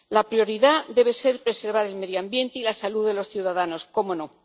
La prioridad debe ser preservar el medio ambiente y la salud de los ciudadanos, ¡cómo no!